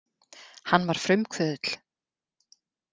Hann var frumkvöðull.